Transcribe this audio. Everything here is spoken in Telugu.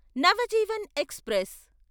నవజీవన్ ఎక్స్ప్రెస్